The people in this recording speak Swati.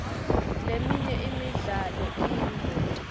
leminye imidlalo iyingoti